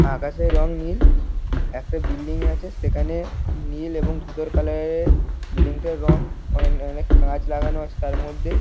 আকাশের রং নীল। একটা বিল্ডিং আছে। সেখানে নীল এবং ধূসর কালার -এর বিল্ডিং -টার রং। অনে- অনেক কাঁচ লাগানো আছে তার মধ্যে।